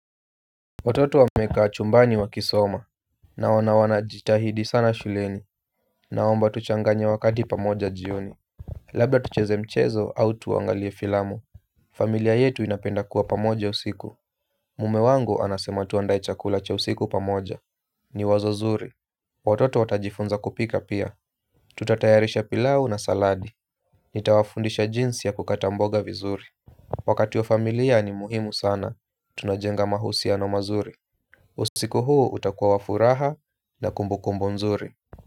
Watoto wamekaa chumbani wakisoma na wanajitahidi sana shuleni. Naomba tuchanganye wakati pamoja jioni. Labda tucheze mchezo au tuangalie filamu. Familia yetu inapenda kuwa pamoja usiku. Mume wangu anasema tuandae chakula cha usiku pamoja. Ni wazo zuri. Watoto watajifunza kupika pia Tutatayarisha pilau na saladi. Nitawafundisha jinsi ya kukata mboga vizuri. Wakati wa familia ni muhimu sana, tunajenga mahusiano mazuri. Usiku huu utakuwa wa furaha na kumbu kumbu nzuri.